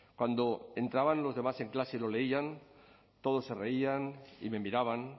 cuando entraban los demás en clase y lo leían todos se reían y me miraban